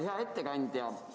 Hea ettekandja!